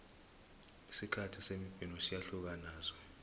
isikhathi semibhino siyahlukana naso